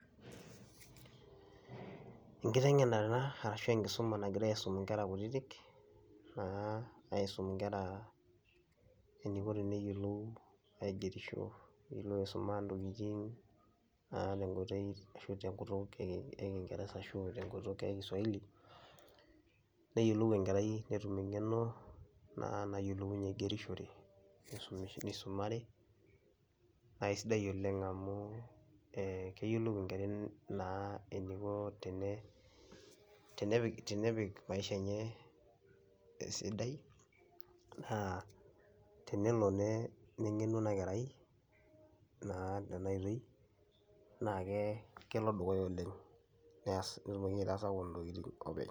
Enkiteng'enare ena arashu enkisuma nagirai aisum inkera kutitik naa aisum inkera eniko teneyiolou aigerisho, neyiolou aisuma ntokitin naa te nkoitoi ashu te nkutuk e e king'ereza ashu te nkutuk e kiswahili, neyiolou enkerai netum eng'eno naa nayiolounye aigerishore nisumisho nisumare, nae sidai oleng' amu ee keyiolou enkarai naa eniko tene tenepik tenepik maisha enye esidai naa tenelo ne neng'enu ena kerai naa tena oitoi naake kelo dukuya oleng' nees nelo nye aitaa sapuk ntokitin openy.